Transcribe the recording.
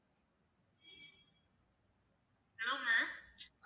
hello ma'am